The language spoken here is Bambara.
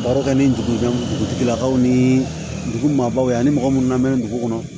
Baro kɛ ni dugujɛ dugutigilakaw ni dugu maabaw ani mɔgɔ munnu lamɛnna dugu kɔnɔ